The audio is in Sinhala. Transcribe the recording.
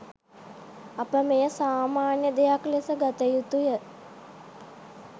අප මෙය සාමාන්‍ය දෙයක් ලෙස ගත යුතුය